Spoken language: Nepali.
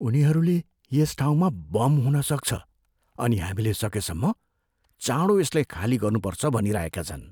उनीहरूले यस ठाउँमा बम हुन सक्छ अनि हामीले सकेसम्म चाँडो यसलाई खाली गर्नुपर्छ भनिरहेका छन्।